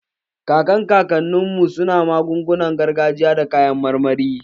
Kakan kakannin mu su na magungunar gargajiya da kayan marmari